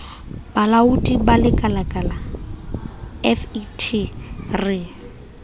bolaoding ba lekalala fet re